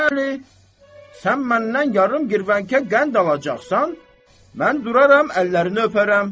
Bəli, sən məndən yarım girvənkə qənd alacaqsan, mən duraram əllərini öpərəm.